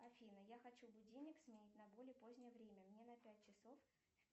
афина я хочу будильник сменить на более позднее время мне на пять часов